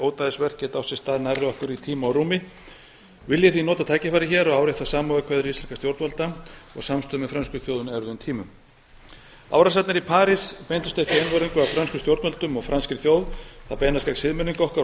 ódæðisverk geta átt sér stað nærri okkur í tíma og rúmi vil ég því nota tækifærið hér og árétta samúðarkveðjur íslenskra stjórnvalda og samstöðu með frönsku þjóðinni á erfiðum tímum árásirnar í parís beindust ekki einvörðungu að frönskum stjórnvöldum og franskri þjóð þær beinast gegn siðmenningu okkar og